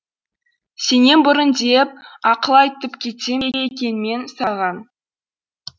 сенен бұрын де е еп ақыл айтып кетсем бе екенмен саған